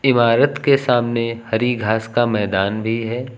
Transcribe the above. इमारत के सामने हरि घास का मैदान भी है।